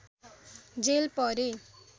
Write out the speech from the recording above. jail परे